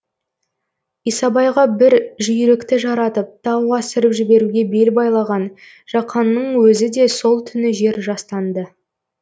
исабайға бір жүйрікті жаратып тау асырып жіберуге бел байлаған жақанның өзі де сол түні жер жастанды